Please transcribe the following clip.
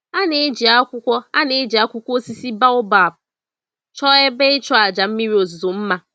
A na-eji akwụkwọ A na-eji akwụkwọ osisi baobab chọọ ebe ịchụàjà mmiri ozuzo mma